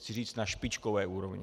Chci říct na špičkové úrovni.